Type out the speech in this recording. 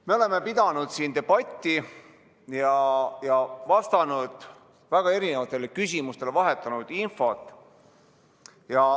Me oleme pidanud siin debatti ja vastanud väga erinevatele küsimustele, vahetanud infot.